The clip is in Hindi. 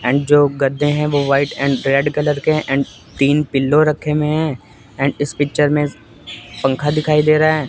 ऐंड जो गद्दे है वो एंड रेड कलर के है एंड तीन पिलो रखे हुए हैं एंड इस पिक्चर मे पंखा दिखाई दे रहा है।